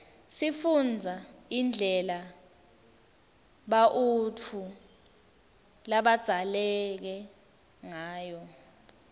sifundza indlela bautfu labadzaleke ngayo